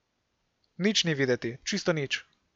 Nič ni videti, čisto nič.